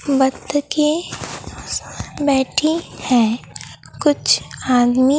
बत्तखे बैठी है कुछ आदमी--